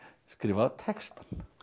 skrifa textann